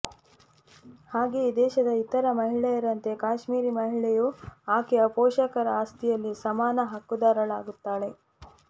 ಹಾಗೆಯೇ ದೇಶದ ಇತರ ಮಹಿಳೆಯರಂತೆ ಕಾಶ್ಮೀರಿ ಮಹಿಳೆಯೂ ಆಕೆಯ ಪೋಷಕರ ಆಸ್ತಿಯಲ್ಲಿ ಸಮಾನ ಹಕ್ಕುದಾರಳಾಗುತ್ತಾಳೆ